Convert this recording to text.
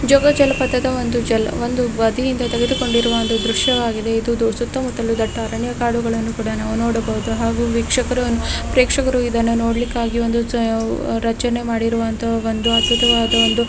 ಜೋಗ ಜಲಪಾತದ ಒಂದು ಜಲ ಒಂದು ನದಿಯಿಂದ ತೆಗೆಡಿಕೊಂಡಿರುವ ಒಂದು ದೃಶ್ಯ ಆಗಿದೆ ಇದು ಸುತ್ತ ಮುತ್ತಲು ದಟ್ಟ ಅರಣ್ಯ ಕಾಡುಗಳನ್ನು ಕೂಡ ನಾವು ನೋಡಬಹುದು ಹಾಗು ವೀಕ್ಷಕರು ಪ್ರೇಕ್ಷಕರು ಇದನ್ನು ನೋಡಲಿಕ್ಕಾಗಿ ಒಂದು ರಚನೆ ಮಾಡಿರುವಂತ ಒಂದು ಅದ್ಭುತವಾದ ಒಂದು --